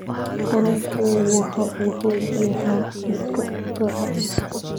Kalluunku waxa uu xoojiyaa hab-dhiska difaaca.